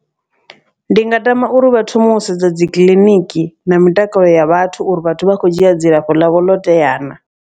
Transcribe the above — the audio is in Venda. Ndi nga tama uri vha thome u sedza dzi kiḽiniki na mitakalo ya vhathu uri vhathu vha kho dzhia dzilafho ḽavho loteya naa.